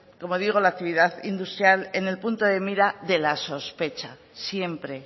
como digo la actividad industrial en el punto de mira de la sospecha siempre